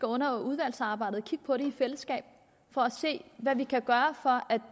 under udvalgsarbejdet skal kigge på det i fællesskab for at se hvad vi kan gøre for